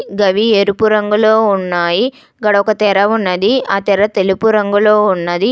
గవి ఎరుపు రంగులో ఉన్నాయి ఇక్కడొక తెర ఉన్నది ఆ తెర తెలుపు రంగులో ఉన్నది.